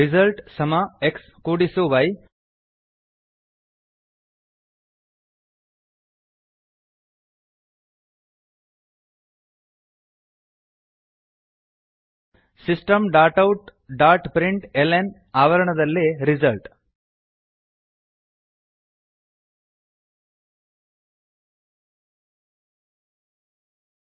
result xy system dot out dot print LN ಆವರಣದಲ್ಲಿ result system